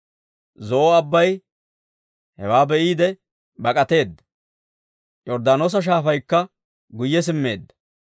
Zo'o Abbay hewaa be'iide bak'ateedda; Yorddaanoosa Shaafaykka guyye simmeedda.